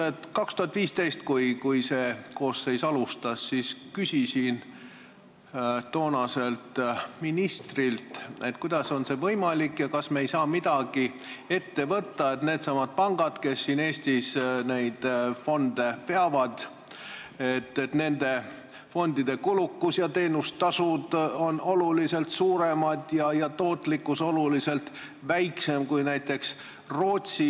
Aastal 2015, kui see koosseis alustas, küsisin toonaselt ministrilt, kuidas on see võimalik ja kas me ei saa midagi ette võtta, et Eestis peavad neid fonde needsamad pangad, aga fondide kulukus ja teenustasud on oluliselt suuremad ja tootlikkus oluliselt väiksem kui näiteks Rootsis.